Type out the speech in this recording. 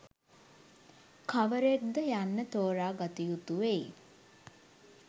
කවරෙක්ද යන්න තෝරා ගත යුතු වෙයි